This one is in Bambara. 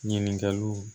Ɲininkaliw